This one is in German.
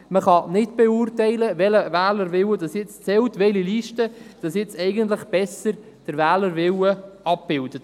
Eigentlich kann man nicht beurteilen, welcher Wählerwille zählt und welche Liste den Wählerwillen besser abbildet.